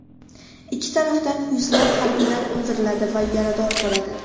Ikki tarafdan yuzlab harbiylar o‘ldiriladi va yarador bo‘ladi.